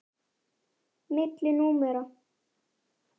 Milli númera.